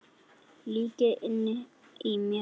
Líka inni í mér.